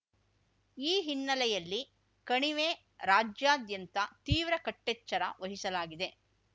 ಈ ಹಿನ್ನೆಲೆಯಲ್ಲಿ ಕಣಿವೆ ರಾಜ್ಯಾದ್ಯಂತ ತೀವ್ರ ಕಟ್ಟೆಚ್ಚರ ವಹಿಸಲಾಗಿದೆ